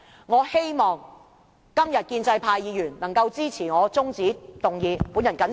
我希望今天建制派議員能夠支持這項中止待續議案。